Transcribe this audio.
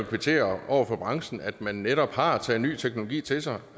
kvittere over for branchen for at man netop har taget ny teknologi til sig